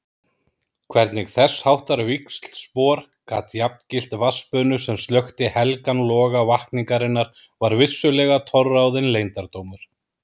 Hvernig þessháttar víxlspor gat jafngilt vatnsbunu sem slökkti helgan loga vakningarinnar var vissulega torráðinn leyndardómur.